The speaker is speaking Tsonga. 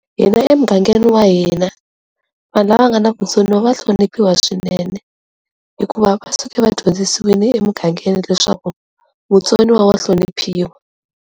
Hina emugangeni wa hina vanhu lava nga na vutsoniwa va hloniphiwa swinene hikuva va suke vadyondzisiwile emugangeni leswaku mutsoniwa wa hloniphiwa.